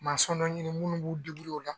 n'an ye minnu b'u o la.